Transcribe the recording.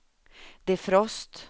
defrost